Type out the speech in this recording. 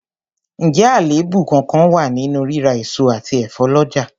Ǹjẹ́ àléébù kánkán wà nínú rírà èso àti ẹ̀fọ́ lọ́jà?